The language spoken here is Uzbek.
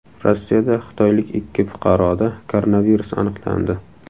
Rossiyada xitoylik ikki fuqaroda koronavirus aniqlandi.